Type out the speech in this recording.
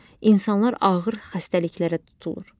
İnsanlar ağır xəstəliklərə tutulur.